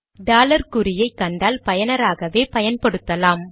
dollar குறியை கண்டால் பயனாராகவே பயன்படுத்தலாம்